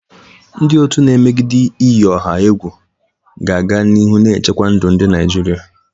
Ndị otu na-emegide iyi ọha egwu ga-aga n'ihu na-echekwa ndụ ndị Naijiria.